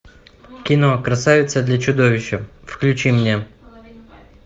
кино красавица для чудовища включи мне